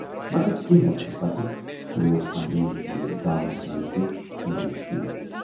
مگر کینہہ وقتہٕ پتہٕ کھُلیوو امبریٖن سٕندِس گامس منز تہِ مڈِل سکوٗل۔